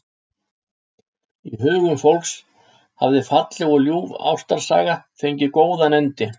Í hugum fólks hafði falleg og ljúf ástarsaga fengið góðan endi.